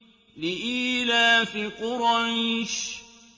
لِإِيلَافِ قُرَيْشٍ